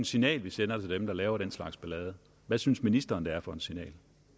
signal vi sender til dem der laver den slags ballade hvad synes ministeren det er for et signal